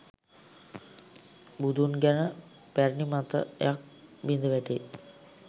බුදුන් ගැන පැරැණි මතයක් බිඳ වැටේ